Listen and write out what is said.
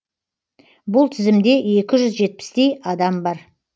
бұл тізімде екі жүз жетпістей адам бар